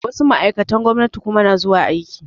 Wasu ma'aikatan gwamnati kuma na zuwa aiki